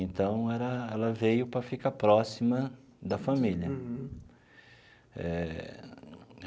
Então era, ela veio para ficar próxima da família. Uhum. Eh.